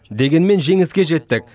дегенмен жеңіске жеттік